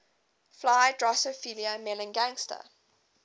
fly drosophila melanogaster